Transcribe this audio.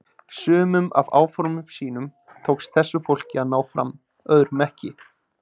Sumum af áformum sínum tókst þessu fólki að ná fram, öðrum ekki.